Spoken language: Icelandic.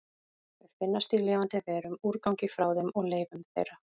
Þau finnast í lifandi verum, úrgangi frá þeim og leifum þeirra.